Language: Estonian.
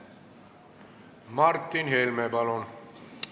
Martin Helme, palun!